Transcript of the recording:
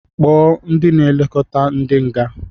Kpọọ ndị na-elekota ndị nga!